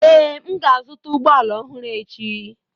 Ee, m ga-azụta ụgbọ ala ọhụrụ echi.